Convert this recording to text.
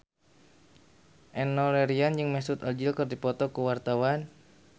Enno Lerian jeung Mesut Ozil keur dipoto ku wartawan